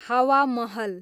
हावा महल